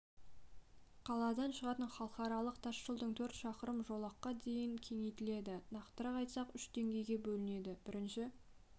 қаладан шығатын халықаралық тас жолдың төрт шақырымы жолаққа дейін кеңейтіледі нақтырақ айтсақ үш деңгейге бөлінеді бірінші